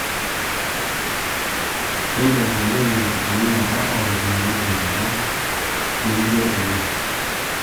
Kiilep oleng' enkitumiata o ropiyiani te enkata nijio ena